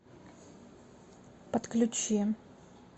отключи